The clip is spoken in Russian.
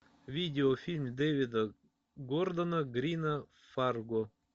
видеофильм дэвида гордона грина фарго